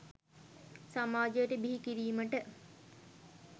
සමාජයට බිහි කිරීමට